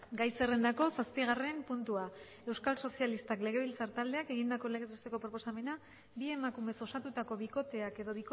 gai zerrendako zazpigarren puntua euskal sozialistak legebiltzar taldeak egindako legez besteko proposamena bi emakumez osatutako bikoteak edo